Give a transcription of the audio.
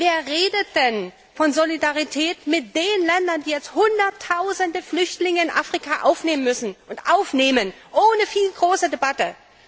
Wer redet denn von Solidarität mit den Ländern in Afrika, die jetzt Hunderttausende Flüchtlinge aufnehmen müssen und aufnehmen ohne große Debatte?